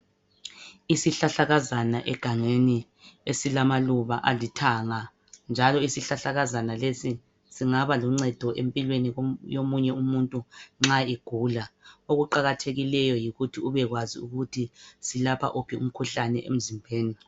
Isihlahlakazana egangeni esilamaluba alithanga njalo isihlahlakazana lesi singaba luncedo empilweni yomunye umuntu nxa egula. Okuqakathekileyo yikuthi ubekwazi ukuthi silapha uphi umkhuhlane emzimbeni.